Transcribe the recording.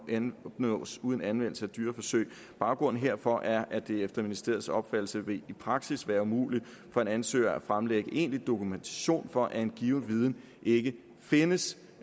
kan opnås uden anvendelse af dyreforsøg baggrunden herfor er at det efter ministeriets opfattelse i praksis vil være umuligt for en ansøger at fremlægge egentlig dokumentation for at en given viden ikke findes